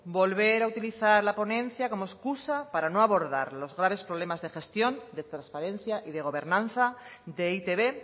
volver a utilizar la ponencia como excusa para no abordar los graves problemas de gestión de transparencia y de gobernanza de e i te be